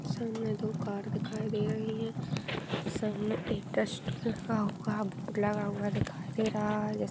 सामने दो कार दिखाई दे रही हैं सामने टेस्ट लिखा हुआ है बोर्ड लगा हुआ दिखाई दे रहा है।